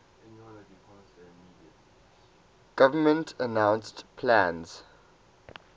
government announced plans